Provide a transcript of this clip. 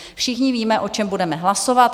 Všichni víme, o čem budeme hlasovat.